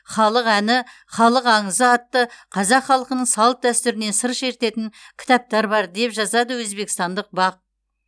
халық әні халық аңызы атты қазақ халқының салт дәстүрінен сыр шертетін кітаптар бар деп жазады өзбекстандық бақ